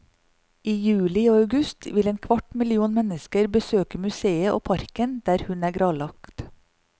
I juli og august vil en kvart million mennesker besøke museet og parken der hun er gravlagt.